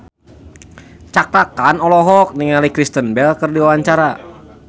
Cakra Khan olohok ningali Kristen Bell keur diwawancara